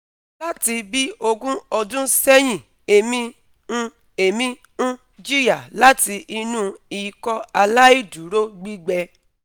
lati bi ogun odun sehin emi n emi n jiya lati inu Ikọaláìdúró gbigbẹ